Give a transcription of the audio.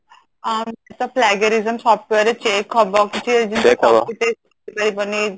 ଅ software ରେ change ହବ କିଛି ହେଇ ପାରିବନି